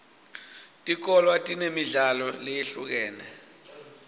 tikolwa tinemidlalo leyehlukene